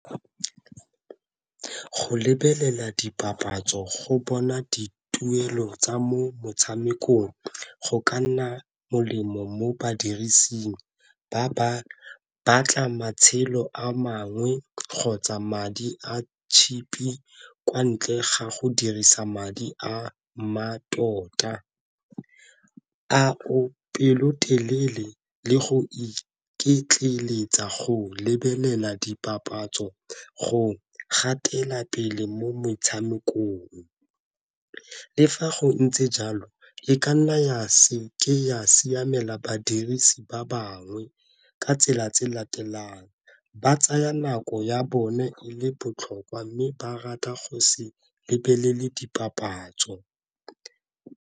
Go lebelela dipapatso go bona dituelo tsa mo motshamekong go ka nna molemo mo badirising ba ba batla matshelo a mangwe kgotsa madi a kwa ntle ga go dirisa madi a mmatota. A o pelotelele le go iketleletsa go lebelela dipapatso go gatela pele mo metshamekong. Le fa go ntse jalo e ka nna ya se ke ya siamela badirisi ba bangwe ka tsela tse latelang, ba tsaya nako ya bone e le botlhokwa mme ba rata go se lebelele dipapatso.